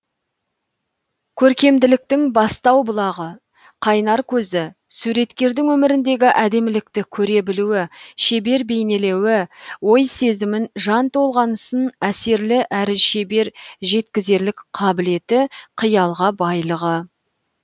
көркемділіктің бастау бұлағы қайнар көзі суреткердің өміріндегі әдемілікті көре білуі шебер бейнелеуі ой сезімін жан толғанысын әсерлі әрі шебер жеткізерлік қабілеті қиялға байлығы